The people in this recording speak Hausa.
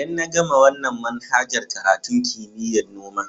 Idan na gama wanan manhajar karatun kimiyya'n noma,